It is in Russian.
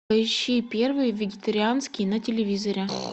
поищи первый вегетарианский на телевизоре